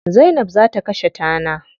Zainab za ta kashe tana.